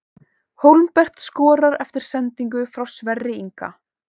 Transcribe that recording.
Hólmbert skorar eftir sendingu frá Sverri Inga!